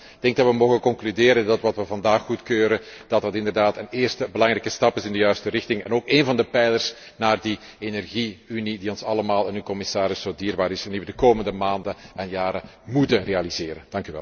Ik denk dat we mogen concluderen dat wat we vandaag goedkeuren, inderdaad een eerste belangrijke stap in de juiste richting is en ook een van de pijlers van die energie unie die ons allemaal en u, commissaris, zo dierbaar is en die we de komende maanden en jaren moeten realiseren.